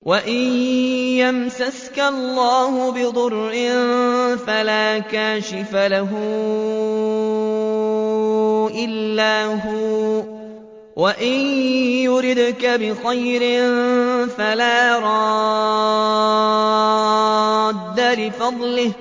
وَإِن يَمْسَسْكَ اللَّهُ بِضُرٍّ فَلَا كَاشِفَ لَهُ إِلَّا هُوَ ۖ وَإِن يُرِدْكَ بِخَيْرٍ فَلَا رَادَّ لِفَضْلِهِ ۚ